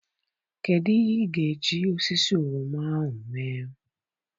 Kedụ ihe ị ga-eji osisi oroma ahụ mee?